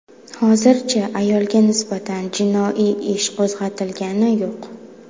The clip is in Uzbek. Hozircha ayolga nisbatan jinoiy ish qo‘zg‘atilgani yo‘q.